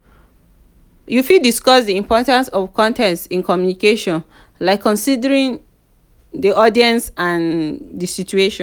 you fit discuss di importance of context in communication like considering di audience and di situation.